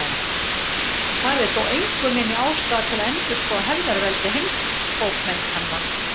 Það er þó engu minni ástæða til að endurskoða hefðarveldi heimsbókmenntanna.